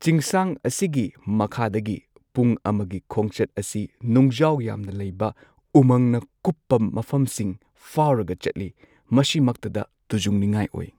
ꯆꯤꯡꯁꯥꯡ ꯑꯁꯤꯒꯤ ꯃꯈꯥꯗꯒꯤ ꯄꯨꯡ ꯑꯃꯒꯤ ꯈꯣꯡꯆꯠ ꯑꯁꯤ ꯅꯨꯡꯖꯥꯎ ꯌꯥꯝꯅ ꯂꯩꯕ ꯎꯃꯪꯅ ꯀꯨꯞꯄ ꯃꯐꯝꯁꯤꯡ ꯐꯥꯎꯔꯒ ꯆꯠꯂꯤ ꯃꯁꯤꯃꯛꯇꯗ ꯇꯨꯖꯨꯡꯅꯤꯡꯉꯥꯏ ꯑꯣꯏ꯫